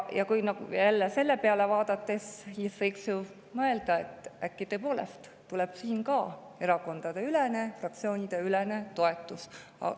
Sellele vaadates võiks ju mõelda, et äkki tõepoolest ka seda erakonnad, fraktsioonid toetavad.